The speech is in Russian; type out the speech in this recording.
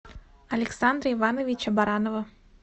александра ивановича баранова